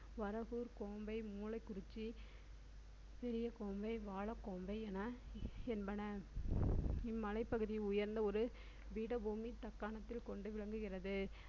வரகூர் கோம்பை மூலைக்குறிச்சி சிறிய கோம்பை வாழைக் கோம்பை என என்பன இம்மலைப்பகுதி உயர்ந்த ஒரு பீடபூமி தக்காணத்தில் கொண்டு விளங்குகிறது